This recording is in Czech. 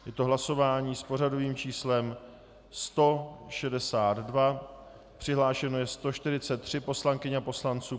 Je to hlasování s pořadovým číslem 162, přihlášeno je 143 poslankyň a poslanců.